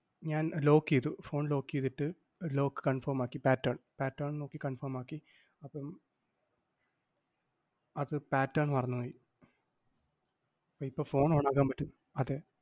ഞാൻ lock എയ്തു phone lock എയ്തിട്ട്, lock confirm ആക്കി pattern pattern നോക്കി confirm ആക്കി. അപ്പം അത് pattern മറന്നുപോയി. ഇപ്പം phone on ആക്കാൻ പറ്റു~ അതെ.